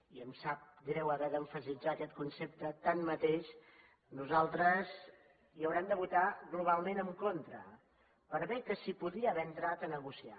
i em sap greu haver d’emfatitzar aquest concepte tanmateix nosaltres hi haurem de votar globalment en contra per bé que s’hi podria haver entrat a negociar